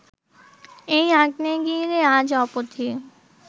এই আগ্নেয়গিরি আজ অবধি